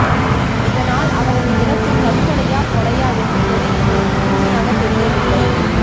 இதனால் அவரது இறப்பு தற்கொலையாகொலையா என்று கூட எங்களுக்கு முழுமையாக தெரியவில்லை